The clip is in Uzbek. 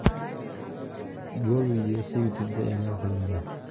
Gol videosi YouTube’da e’lon qilingan .